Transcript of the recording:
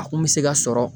A kun bɛ se ka sɔrɔ